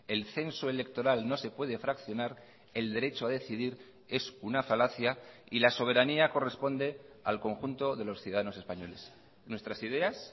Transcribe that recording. el censo electoral no se puede fraccionar el derecho a decidir es una falacia y la soberanía corresponde al conjunto de los ciudadanos españoles nuestras ideas